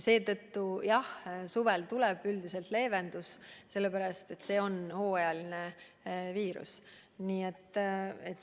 Seetõttu jah, suvel tuleb üldiselt leevendus, see on hooajaline viirus.